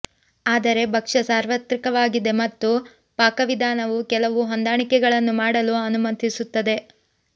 ಆದರೆ ಭಕ್ಷ್ಯ ಸಾರ್ವತ್ರಿಕವಾಗಿದೆ ಮತ್ತು ಪಾಕವಿಧಾನವು ಕೆಲವು ಹೊಂದಾಣಿಕೆಗಳನ್ನು ಮಾಡಲು ಅನುಮತಿಸುತ್ತದೆ